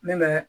Ne bɛ